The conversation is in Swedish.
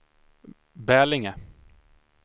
Bälinge